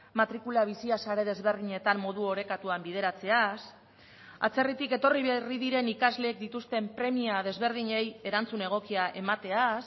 matrikula bizia sare desberdinetan modu orekatuan bideratzeaz atzerritik etorri berri diren ikasleek dituzten premia desberdinei erantzun egokia emateaz